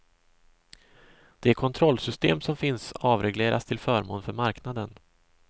De kontrollsystem som finns avregleras till förmån för marknaden.